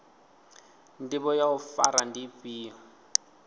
ndivho ya u fara ndi ifhio